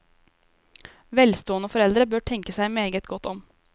Velstående foreldre bør tenke seg meget godt om.